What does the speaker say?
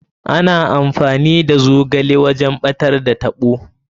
Ana amfani da ruwan zogale wajen ɓatar da taɓo.